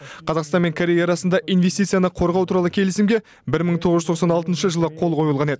қазақстан мен корея арасында инвестицияны қорғау туралы келісімге бір мың тоғыз жүз тоқсан алтыншы жылы қол қойылған еді